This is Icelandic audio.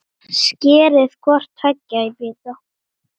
Skerið hvort tveggja í bita.